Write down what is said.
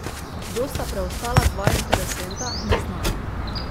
Kdo sta preostala dva interesenta, ni znano.